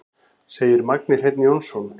Segir Magni Hreinn Jónsson.